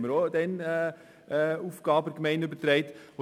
auch dort haben wir Aufgaben an die Gemeinde übertragen.